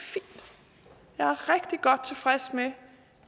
godt tilfreds med